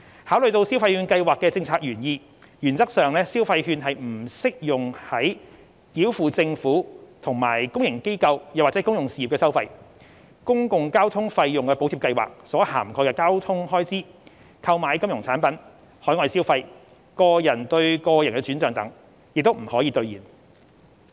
考慮到消費券計劃的政策原意，原則上消費券將不適用於繳付政府及公營機構/公用事業的收費、公共交通費用補貼計劃所涵蓋的交通開支、購買金融產品、海外消費、個人對個人轉帳等，也不可兌現。